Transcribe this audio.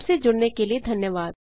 हमसे जुड़ने के लिए धन्यवाद